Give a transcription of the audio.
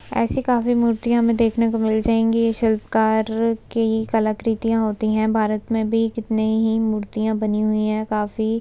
ऐसे काव्य मूर्तियाँ हमें देखने को मिल जायेंगी ये शिल्पकार के कलाकृतियाँ होती है भारत में भी कितनी ही मूर्तियाँ बनी हुई है काफी --